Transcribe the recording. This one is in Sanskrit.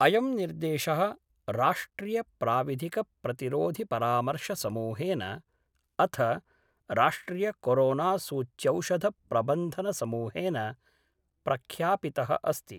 अयं निर्देशः राष्ट्रियप्राविधिकप्रतिरोधिपरामर्शसमूहेन अथ राष्ट्रियकोरोनासूच्यौषधप्रबन्धनसमूहेन प्रख्यापित: अस्ति।